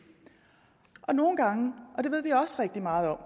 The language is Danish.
nogle gange og det ved vi også rigtig meget om